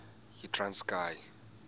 yitranskayi